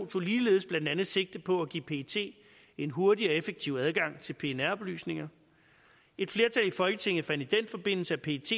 tog ligeledes blandt andet sigte på at give pet en hurtig og effektiv adgang til pnr oplysninger et flertal i folketinget fandt i den forbindelse at pet